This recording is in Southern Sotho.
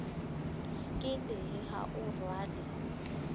ke lehe ha o rwale